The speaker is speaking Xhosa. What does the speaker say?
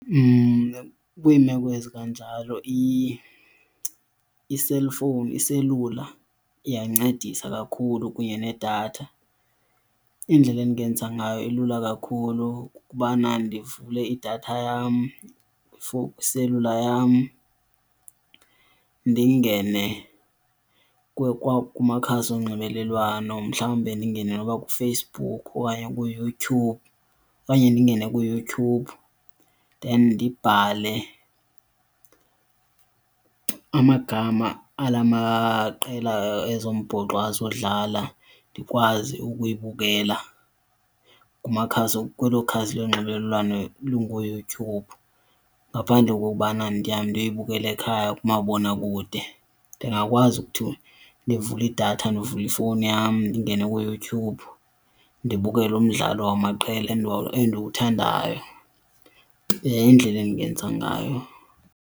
Kwiimeko ezikanjalo i-cellphone, iselula, iyancedisa kakhulu kunye needatha. Indlela endingenza ngayo ilula kakhulu kukubana ndivule idatha yam before kwiselula yam ndingene kumakhasi onxibelelwano. Mhlawumbe ndingene noba kuFacebook okanye kuYouTube okanye ndingene kuYouTube then ndibhale amagama ala maqela ezombhoxo azodlala ndikwazi ukuyibukela kumakhasi, kwelo ikhasi lonxibelelwano lunguYouTube ngaphandle kokokubana ndihambe ndiyoyibukela ekhaya kumabonakude. Ndingakwazi ukuthi ndivule idatha, ndivule ifowuni yam ndingene kuYouTube ndibukele umdlalo wamaqela endiwuthandayo. Yindlela endingenza ngayo.